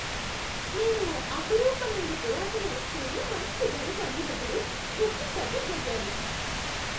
నేను ఓ అపురూపమైన పురాతన వస్తువును మంచి ధరకు అమ్మినప్పుడు ఉబ్బి తబ్బిబ్బయ్యాను.